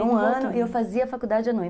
Então, por um ano eu fazia faculdade à noite.